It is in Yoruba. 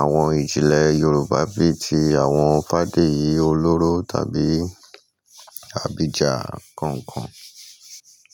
àwọn ìjìnlẹ̀ Yorùbá bí i ti àwọn Fádéyì Olóró tàbí Abidjan nkọ̀ọ̀kan.